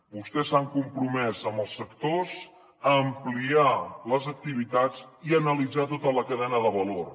vostès s’han compromès amb els sectors a ampliar les activitats i a analitzar tota la cadena de valor